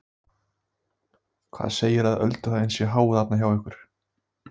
Lillý Valgerður Pétursdóttir: Hvað segirðu að ölduhæðin sé há þarna hjá ykkur?